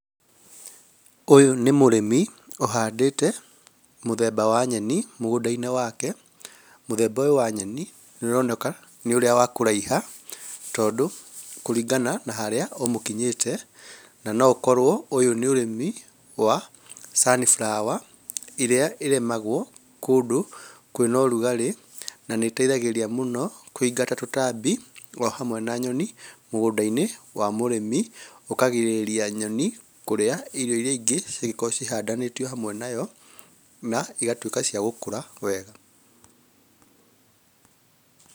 Ũyũ nĩ mũrĩmi ũhandĩte mũthemba wa nyeni mũgũnda-inĩ wake. Mũthemba ũyũ wa nyeni nĩũroneka nĩ ũrĩa wa kũraiha tondũ kũringana na harĩa ũmũkinyĩte na no ũkorwo ũyũ nĩ ũrĩmi wa sunflower, iria irĩmagwo kũndũ kwĩna ũrugarĩ na nĩ iteithagĩrĩria mũno kũingata tũtambi ohamwe na nyoni mũgũnda-inĩ wa mũrĩmi ũkagirĩrĩria nyoni kũrĩa irio iria ingĩ cingĩkorwo cihandanĩtio nayo na igatwĩka cia gũkũra wega.